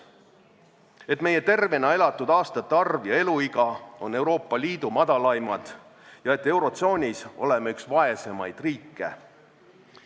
Rääkima peab sellestki, et meie tervena elatud aastate arv ja eluiga on näitajad, mis on Euroopa Liidu madalaimad, ja et eurotsoonis oleme üks vaesemaid riike.